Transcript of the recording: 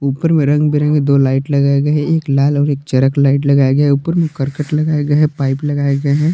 ऊपर में रंग बिरंगे दो लाइट लगाएं गए हैं एक लाल और एक चरक लाइट लगाया गया है ऊपर में करकट लगाए गए हैं पाइप लगाए गए हैं।